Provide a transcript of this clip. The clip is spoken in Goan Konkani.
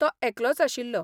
तो एकलोच आशिल्लो.